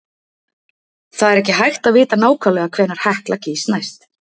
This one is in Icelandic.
Það er ekki hægt að vita nákvæmlega hvenær Hekla gýs næst.